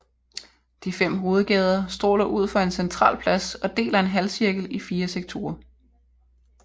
De fem hovedgader stråler ud fra en central plads og deler en halvcirkel i fire sektorer